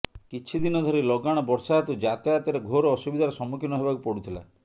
କିଛିଦିନ ଧରି ଲଗାଣ ବର୍ଷା ହେତୁ ଯାତାୟାତରେ ଘୋର ଅସୁବିଧାର ସମ୍ମୁଖୀନ ହେବାକୁ ପଡ଼ୁଥିଲା